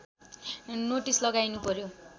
notice लगाइनु पर्‍यो